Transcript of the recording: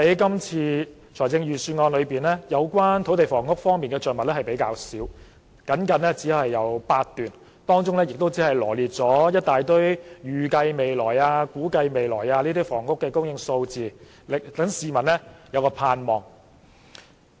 今次預算案對土地房屋的着墨較少，只有僅僅8段，當中羅列了一大堆"預計未來"、"估計未來"的房屋供應數字，讓市民有所盼望。